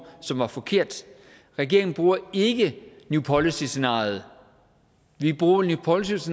som var forkert regeringen bruger ikke new policies scenariet vi bruger new policies